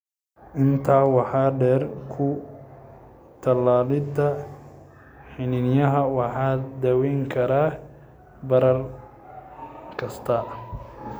Intaa waxaa dheer, ku-tallaalidda xiniinyaha waxay daweyn kartaa barar kasta.